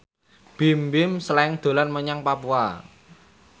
Bimbim Slank dolan menyang Papua